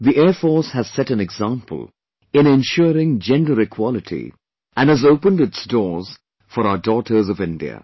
The Air Force has set an example in ensuring gender equality and has opened its doors for our daughters of India